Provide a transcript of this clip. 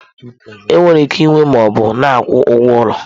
Enwere ike ịnwe ma ọ bụ na akwụ ụgwọ ụlọ.